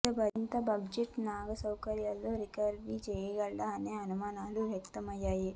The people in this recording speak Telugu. ఇంత బడ్జెట్ను నాగశౌర్య రికవరీ చేయగలడా అనే అనుమానాలు వ్యక్తం అయ్యాయి